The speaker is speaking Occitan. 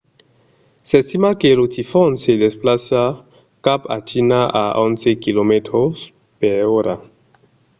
s’estima que lo tifon se desplaça cap a china a onze km/h